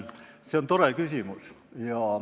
See on tore küsimus.